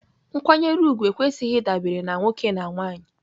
Nkwanyere ugwu ekwesịghị ịdabere na nwoke na nwanyị.